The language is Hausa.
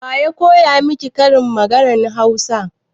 Waya koya miki karin maganan Hausa?